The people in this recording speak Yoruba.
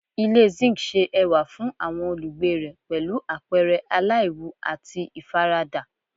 Ile zinc ṣe ẹwa fun awọn olugbe rẹ pẹlu apẹrẹ alaiwu ati ifarada